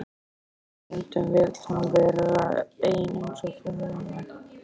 En stundum vill hún vera ein eins og þú núna.